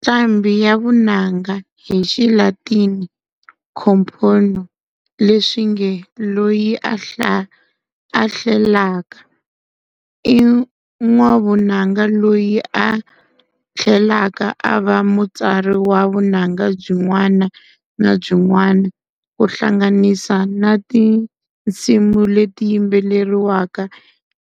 Nqambhi ya vunanga hi xiLatini compōnō, leswinge loyi a hlelaka, i n'wavunanga loyi a thlelaka ava mutsari wa vunanga byin'wana na byi n'wana, ku hlanganisa na tinsimu leti yimbeleriwaka